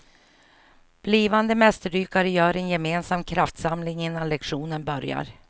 Blivande mästerdykare gör en gemensam kraftsamling innan lektionen börjar.